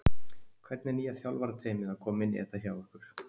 Hvernig er nýja þjálfarateymið að koma inn í þetta hjá ykkur?